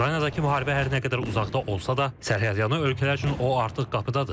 Ukraynadakı müharibə hər nə qədər uzaqda olsa da, sərhədyanı ölkələr üçün o artıq qapıdadır.